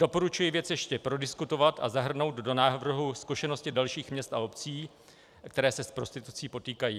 Doporučuji věc ještě prodiskutovat a zahrnout do návrhu zkušenosti dalších měst a obcí, které se s prostitucí potýkají.